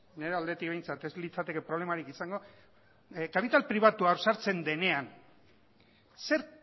nire aldetik behintzat ez litzateke problemarik izango kapital pribatua hor sartzen denean zer